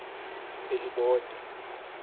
elibode